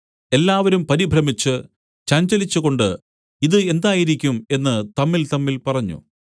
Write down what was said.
എല്ലാവരും പരിഭ്രമിച്ച് ചഞ്ചലിച്ചുകൊണ്ട് ഇത് എന്തായിരിക്കും എന്ന് തമ്മിൽതമ്മിൽ പറഞ്ഞു